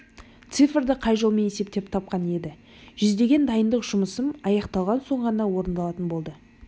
цифрды қай жолмен есептеп тапқаны еді жүргізген дайындық жұмысым аяқталған соң ғана орындалатын болды